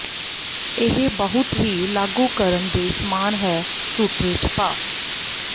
ਇਹ ਬਹੁਤ ਹੀ ਲਾਗੂ ਕਰਨ ਦੇ ਸਮਾਨ ਹੈ ਝੂਠੇ ਝਪਾ